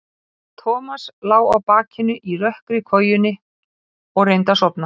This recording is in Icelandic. Og Tíminn kom með mjólkurbílnum þriggja daga gamall og reynslunni ríkari, lesinn upphátt til agna.